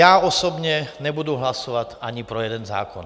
Já osobně nebudu hlasovat ani pro jeden zákon.